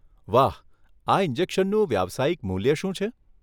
વાહ, આ ઈન્જેકશનનું વ્યવસાયિક મૂલ્ય શું છે?